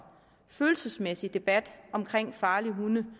følelsesmæssige debat om farlige hunde